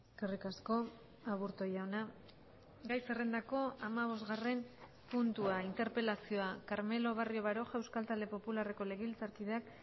eskerrik asko aburto jauna gai zerrendako hamabosgarren puntua interpelazioa carmelo barrio baroja euskal talde popularreko legebiltzarkideak